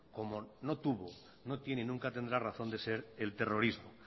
como no tuvo no tiene y nunca tendrá razón de ser el terrorismo